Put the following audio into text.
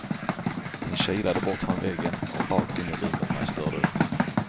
Den kilade bort från väggen och rakt in i rummet när jag störde den.